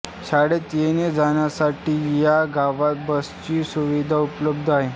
शाळेत येणे जाण्यासाठी या गावाला बसची सुविधा उपलब्ध आहे